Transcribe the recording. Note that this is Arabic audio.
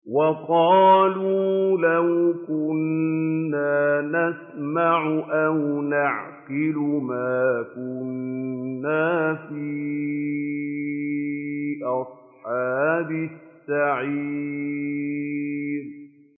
وَقَالُوا لَوْ كُنَّا نَسْمَعُ أَوْ نَعْقِلُ مَا كُنَّا فِي أَصْحَابِ السَّعِيرِ